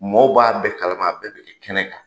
Mɔw b'a bɛɛ kala ma a bɛɛ de bi kɛ kɛnɛ kan